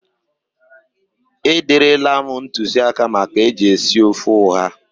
E derela m ntụzịaka maka eji esi ofe ụha.